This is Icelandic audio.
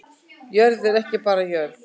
Jörð er ekki bara jörð